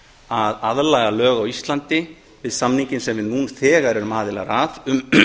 að aðlaga lög á íslandi við samninginn sem við nú þegar erum aðilar að um